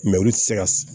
Mɛ olu tɛ se ka